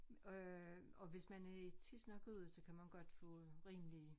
Øh og hvis man er i tids nok ude så kan man godt få en rimelig